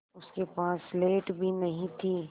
उसके पास स्लेट भी नहीं थी